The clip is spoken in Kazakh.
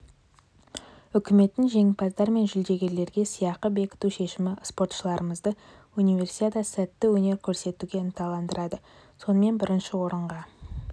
үкіметтің жеңімпаздар мен жүлдегерлерге сыйақы бекіту шешімі спортшыларымызды универсиадада сәтті өнер көрсетуге ынталандырады сонымен бірінші орынға